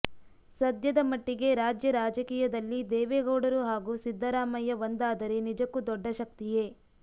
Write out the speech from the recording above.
ಸದ್ಯದ ಮಟ್ಟಿಗೆ ರಾಜ್ಯ ರಾಜಕೀಯದಲ್ಲಿ ದೇವೇಗೌಡರು ಹಾಗೂ ಸಿದ್ದರಾಮಯ್ಯ ಒಂದಾದರೆ ನಿಜಕ್ಕೂ ದೊಡ್ಡ ಶಕ್ತಿಯೇ